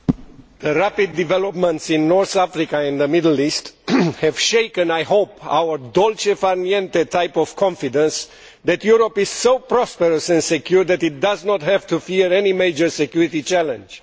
Mr President, the rapid developments in North Africa and the Middle East have shaken, I hope, our type of confidence that Europe is so prosperous and secure that it does not have to fear any major security challenge.